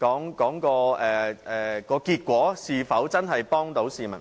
講求結果是否真的能幫助市民。